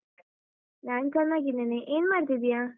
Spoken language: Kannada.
ನಾನ್ ಚೆನ್ನಾಗಿದ್ದೇನೆ ಏನ್ ಮಾಡ್ತಿದ್ದೀಯ?